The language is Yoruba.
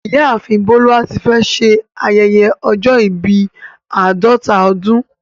Ìyáàfin Boluwatífẹ̀ ṣè ayẹyẹ ọ̀jọ̀ ìbí àdọta ọdún